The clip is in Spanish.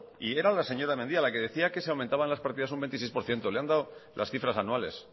y era la señora mendia la que decía que se aumentaban las partidas un veintiséis por ciento le he dado las cifras anuales